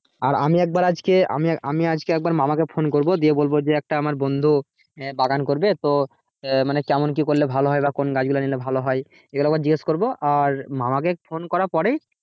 আর আমি একবার আজকে আমি আজকে একবার মামাকে phone করব দিয়ে বলবো যে আমার একটা বন্ধু বাগান করবে তো আহ মানে কেমন কি করলে ভালো হয় কোন গাছগুলো নিলে ভালো হয় এগুলো একবার জিজ্ঞাসা করবো আর মামাকে phone করার পরেই,